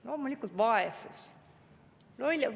Loomulikult vaesus.